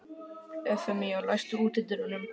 Evfemía, læstu útidyrunum.